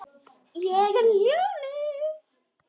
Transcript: Ég er ljónið.